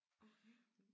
Okay